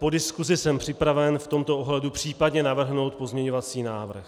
Po diskusi jsem připraven v tomto ohledu případně navrhnout pozměňovací návrh.